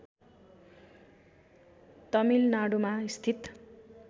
तमिलनाडुमा स्थित